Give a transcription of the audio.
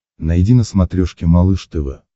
найди на смотрешке малыш тв